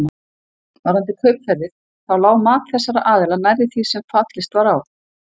Varðandi kaupverðið þá lá mat þessara aðila nærri því sem fallist var á.